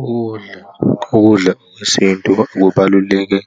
Ukudla, ukudla okwesintu kubaluleke kubaluleke,